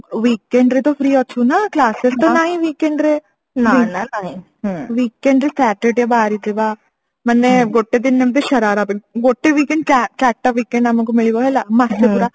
weekend ରେ ତ free ଅଛୁ ନା classes ତ ନାହିଁ weekend ରେ weekend ରେ Saturday ବାହାରିଥିବା ମାନେ ଗୋଟେ ଦିନ ଏମତି ସରାରା ପାଇଁ ଗୋଟେ weekend ଚା ଚାରିଟା weekend ଆମକୁ ମିଳିବ ହେଲା ମାସେ ପୁରା